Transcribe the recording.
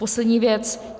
Poslední věc.